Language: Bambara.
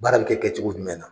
Baara bɛ kɛ kɛcogo jumɛn na?